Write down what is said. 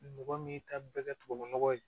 Mɔgɔ min ta bɛɛ ka tubabu nɔgɔ ye